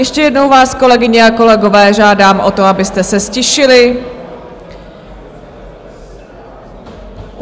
Ještě jednou vás, kolegyně a kolegové, žádám o to, abyste se ztišili.